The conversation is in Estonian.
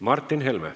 Martin Helme.